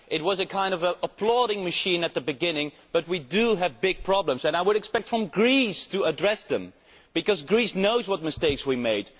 It was a kind of applauding machine at the beginning, but we have big problems, and I would expect Greece to address them, because Greece knows what mistakes we made.